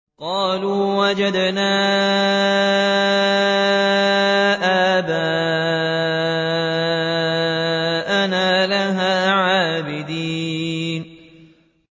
قَالُوا وَجَدْنَا آبَاءَنَا لَهَا عَابِدِينَ